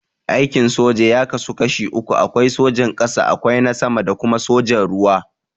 Aikin soja ya kasu kashi uku, akwai sojan ƙasa, akwai na sama da kuma sojan ruwa.